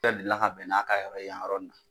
dDelila ka bɛn n'a yan yɔrɔ in na.